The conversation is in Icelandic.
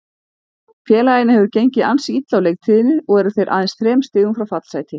Félaginu hefur gengið ansi illa á leiktíðinni og eru þeir aðeins þrem stigum frá fallsæti.